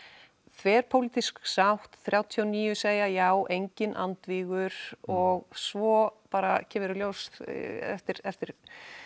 þverpólitísk sátt þrjátíu og níu segja já enginn andvígur og svo bara kemur í ljós eftir eftir